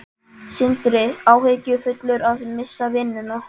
Sindri: Áhyggjufullur að missa vinnuna?